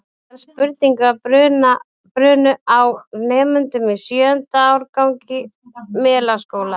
Ótal spurningar brunnu á nemendum í sjöunda árgangi Melaskóla.